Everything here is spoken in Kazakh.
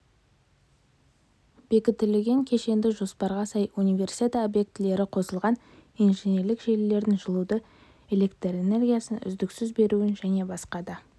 бекітіліген кешенді жоспарға сай универсиада обьектілері қосылған инженерлік желілердің жылуды электрэнергиясын үздіксіз беруін және басқа да